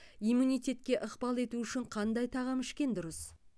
иммунитетке ықпал ету үшін қандай тағам ішкен дұрыс